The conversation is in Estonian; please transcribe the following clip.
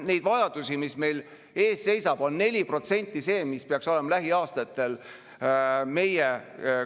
Kui eile küsiti siin saalis arutelul olukorrast Ukraina abistamisel Slava Ukraini tegevjuhilt Johanna‑Maria Lehtmelt, mida me saame teha, siis üks vastustest oli, et ärge jokutage, meil pole aega.